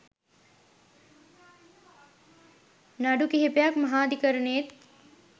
නඩු කිහිපයක් මහාධිකරණයේත්